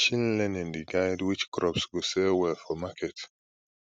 machine learning dey guide which crops go sell well for market